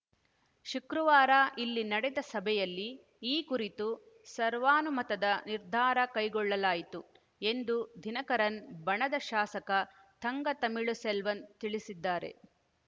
ಶುಕ್ರವಾರ ಇಲ್ಲಿ ನಡೆದ ಸಭೆಯಲ್ಲಿ ಈ ಕುರಿತು ಸರ್ವಾನುಮತದ ನಿರ್ಧಾರ ಕೈಗೊಳ್ಳಲಾಯಿತು ಎಂದು ದಿನಕರನ್‌ ಬಣದ ಶಾಸಕ ಥಂಗ ತಮಿಳುಸೆಲ್ವನ್‌ ತಿಳಿಸಿದ್ದಾರೆ